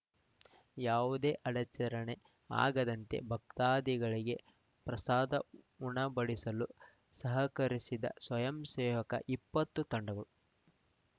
ಯಾವುದೇ ಅಡಚರಣೆ ಆಗದಂತೆ ಭಕ್ತಾದಿಗಳಿಗೆ ಪ್ರಸಾದ ಉಣಬಡಿಸಲು ಸಹಕರಿಸಿದ ಸ್ವಯಂಸೇವಕ ಇಪ್ಪತ್ತು ತಂಡಗಳು